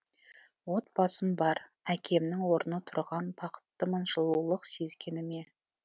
отбасым бар әкемнің орны тұрған бақыттымын жылулық сезгеніме